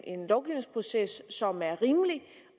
en lovgivningsproces som er rimelig